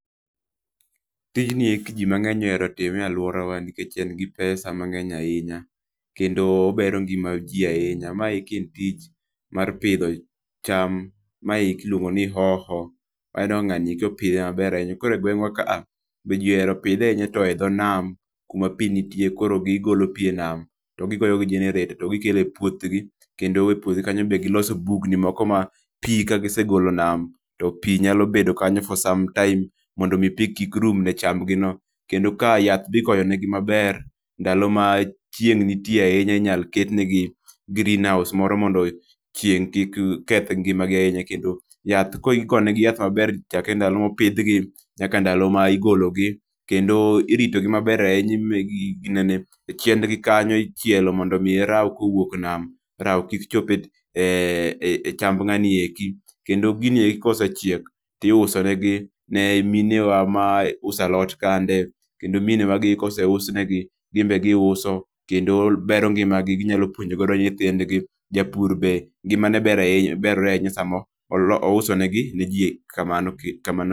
Tijni eki ni mang'eny ohero time e aluora wa nikech en gi pesa mang'eny ahinya, kendo obero ngima ji ahinya ma eki en tich mar pidho cham ma eki iluongo ni hoho aneno ka ng'ani opidhe maber ahinya. koro e gweng' wa ka, to ji ohero pidhe ahinya e to e dho nam kuma pi nitie to koro gigolo pi e nam to gi goyo gi jenereta to gi kelo e puoth gi kendo e puoth gi kanyo be ka gi segolo nam to pi nyalo bedo kanyo for some time mondo mi pi kik rum ne cham go kendo ka yath be igoyo ne gi maber kendo ndalo ma chieng' nitie ahinya be inya ket gi greenhouse moro mondo chieng kik keth ngima gi ahinya kendo yath koro igoyo ne gi ma ber chakre ndalo ma opidh gi nyaka ndalo ma igolo gi kendo irito gi ma ber e ginene chiend gi kanyo ichielo mondo ka rao owuok e nam rao kik chop e cham ng'ani e kendo gini ka osechiek ti iuso ne gi mine wa ma uso alot kande kendo mine wa ka oseusne gi gin be gi uso kendo bero ngima gi gi nyalo, puonjo go nyithindgi japur be ngima ne berore sa ma ouso ne ji kamano.